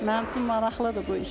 Mənim üçün maraqlıdır bu iş.